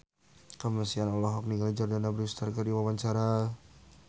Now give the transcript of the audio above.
Kamasean olohok ningali Jordana Brewster keur diwawancara